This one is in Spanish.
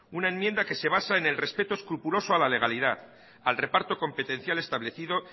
una enmienda que se baja en el respeto escrupuloso a la legalidad al reparto competencial establecido